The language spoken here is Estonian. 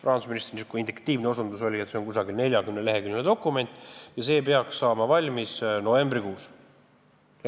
Rahandusministri induktiivne osutus oli, et see on umbes 40-leheküljeline dokument, mis peaks valmis saama novembrikuus.